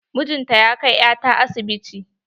Mijin ta ya kai ya ta asibiti.